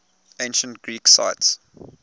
ancient greek sites